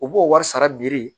U b'o wari sara